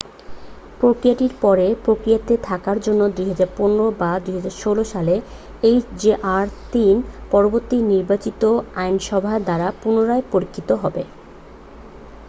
প্রক্রিয়াটির পরে প্রক্রিয়াতে থাকার জন্য 2015 বা 2016 সালে এইচজেআর-3 পরবর্তী নির্বাচিত আইনসভা দ্বারা পুনরায় পরীক্ষিত হবে